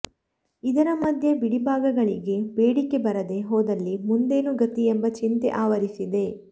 ಇದರ ಮಧ್ಯೆ ಬಿಡಿಭಾಗಗಳಿಗೆ ಬೇಡಿಕೆ ಬರದೇ ಹೋದಲ್ಲಿ ಮುಂದೇನು ಗತಿ ಎಂಬ ಚಿಂತೆ ಆವರಿಸಿದೆ